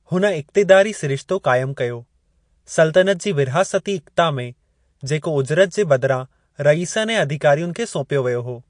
हुन इक्तिदारी सिरिश्तो क़ाइमु कयो : सल्तनत जी विर्हासति इक्ता में, जेको उजरत जे बदिरां रईसनि ऐं अधिकारियुनि खे सौंपियो वियो हो।